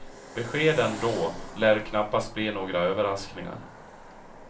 Beskeden då lär knappast bli några överraskningar.